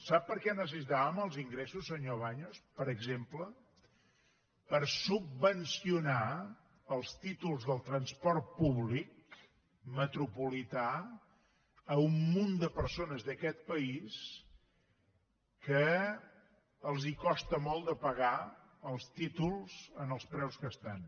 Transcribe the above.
sap per què necessitàvem els ingressos senyor baños per exemple per subvencionar els títols del transport públic metropolità a un munt de persones d’aquest país que els costa molt pagar els títols als preus que estan